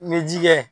N bɛ ji kɛ